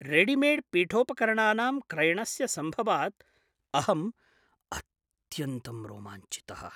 Readymade पीठोपकरणानां क्रयणस्य सम्भवात् अहं अत्यन्तं रोमाञ्चितः।